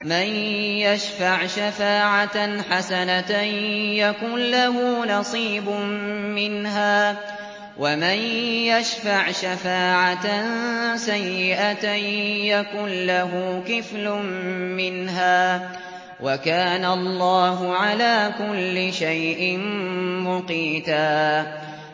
مَّن يَشْفَعْ شَفَاعَةً حَسَنَةً يَكُن لَّهُ نَصِيبٌ مِّنْهَا ۖ وَمَن يَشْفَعْ شَفَاعَةً سَيِّئَةً يَكُن لَّهُ كِفْلٌ مِّنْهَا ۗ وَكَانَ اللَّهُ عَلَىٰ كُلِّ شَيْءٍ مُّقِيتًا